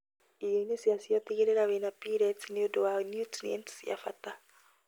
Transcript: Irioinĩ ciacio, tigĩrĩra wĩna pellets nĩundũ wa niutrienti cia bata